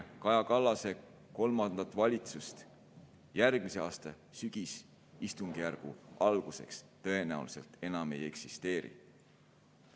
Kaja Kallase kolmandat valitsust järgmise aasta sügisistungjärgu alguseks tõenäoliselt enam ei eksisteeri.